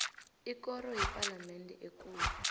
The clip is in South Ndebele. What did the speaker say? ikoro yepalamende ekulu